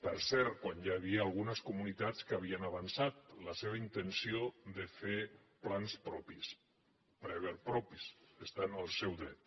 per cert quan ja hi havia algunes comunitats que havi·en avançat la seva intenció de fer plans propis prever propis estan en el seu dret